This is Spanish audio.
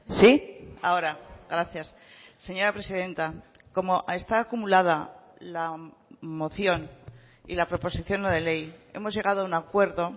sí ahora gracias señora presidenta como está acumulada la moción y la proposición no de ley hemos llegado a un acuerdo